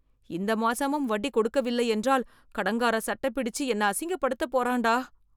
இந்த மாசமும் வட்டி கொடுக்கவில்லை என்றால் கடங்காரன் சட்ட பிடிச்சு என்ன, அசிங்கப்படுத்தப் போறான்டா.